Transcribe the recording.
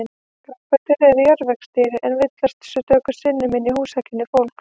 Grápöddur eru jarðvegsdýr en villast stöku sinnum inn í húsakynni fólks.